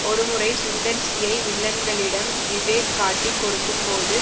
ஒரு முறை சுந்தர் சியை வில்லன்களிடம் விவேக் காட்டிக் கொடுக்கும் போது